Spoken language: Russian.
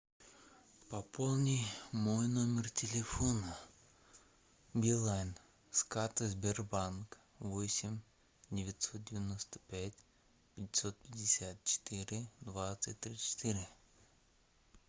пополни мой номер телефона билайн с карты сбербанк восемь девятьсот девяносто пять пятьсот пятьдесят четыре двадцать тридцать четыре